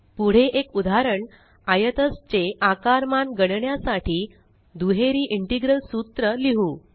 पुढे एक उदाहरण आयतज चे आकारमान गणण्यासाठी दुहेरी इंटेग्रल सूत्र लिहु